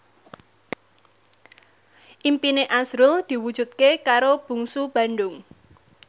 impine azrul diwujudke karo Bungsu Bandung